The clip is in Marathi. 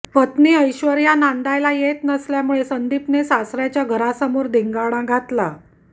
पत्नी ऐश्वर्या नांदायला येत नसल्यामुळे संदीपने सासऱ्याच्या घरासमोर धिंगाणा घातला